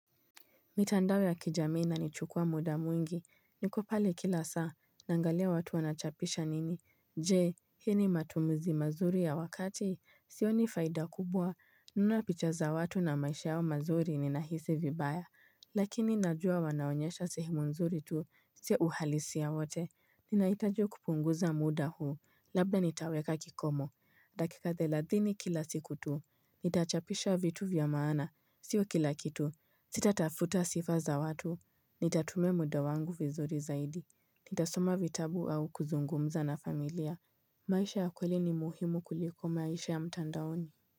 Mitandao ya kijamii inanichukua muda mwingi, niko pale kila saa, nangalia watu wanachapisha nini, jee, hii ni matumuzi mazuri ya wakati, sioni faida kubwa, nunapicha za watu na maisha yao mazuri ninahisi vibaya, lakini najua wanaonyesha sehemu nzuri tu, sio uhalisia wote, ninahitaji kupunguza muda huu, labda nitaweka kikomo, dakika thelathini kila siku tu, nitachapisha vitu vya maana, sio kila kitu, Sita tafuta sifa za watu, nitatumia muda wangu vizuri zaidi, nitasoma vitabu au kuzungumza na familia, maisha ya kweli ni muhimu kuliko maisha ya mtandaoni.